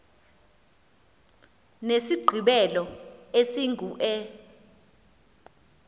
nesigqibelo esingu e